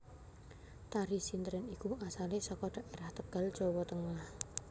Tari sintren iku asale saka dhaerah Tegal Jawa Tengah